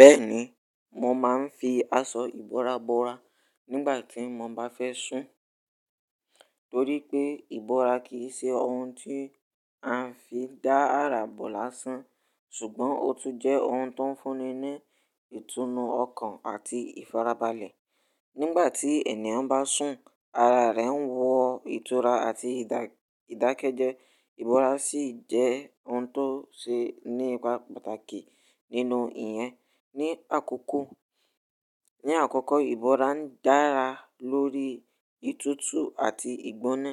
Bẹ́ẹ̀ni, mo maa n fi aṣọ ìbora bora, nigba ti mo ba fẹ sun. Torí pé ìbora kì í ṣe ohun tí a ń fi dá ara bò lásán ṣùgbọ́n ó tún jẹ́ ohun tó ń fúnni ní ìtùnú ọkàn àti ìfarabalẹ̀. Nígbà tí ènìyàn bá sùn, ara rẹ̀ ń wọ ìtura àti ìdákẹ́jẹ́, ìbora sì jẹ́ ohun tó ṣe ní ipa pàtàkì nínú ìyẹn. Ní àkọ́kọ́, ìbora ń dára lórí ìtútù àti ìgbóná.